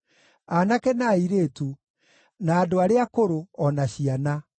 aanake, na airĩtu, na andũ arĩa akũrũ, o na ciana.